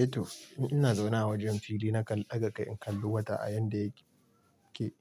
Eh to, in ina zaune a wajen fili na kan daga kai in kalli wata a yan da yake